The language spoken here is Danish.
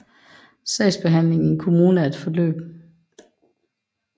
Sagsbehandling i en kommune er forløb